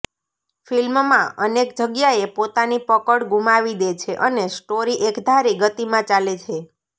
ફિલ્મમાં અનેક જગ્યાએ પોતાની પકડ ગુમાવી દે છે અને સ્ટોરી એકધારી ગતિમાં ચાલે છે